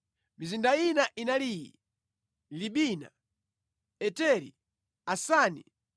Mizinda ina inali iyi: Libina, Eteri, Asani,